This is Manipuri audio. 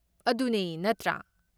ꯑꯗꯨꯅꯦ, ꯅꯠꯇ꯭ꯔꯥ?